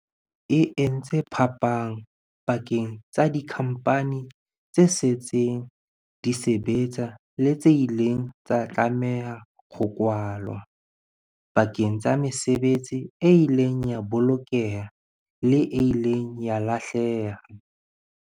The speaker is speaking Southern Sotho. E entse phapang pakeng tsa dikhampani tse setseng di sebetsa le tse ileng tsa tlameha ho kwalwa, pakeng tsa mesebetsi e ileng ya bolokeha le e ileng ya lahleha.